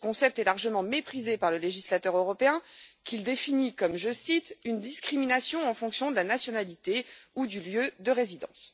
Ce concept est largement méprisé par le législateur européen qui le définit comme je cite une discrimination en fonction de la nationalité ou du lieu de résidence.